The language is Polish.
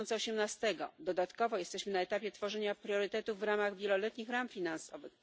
2018. Dodatkowo jesteśmy na etapie tworzenia priorytetów w ramach wieloletnich ram finansowych.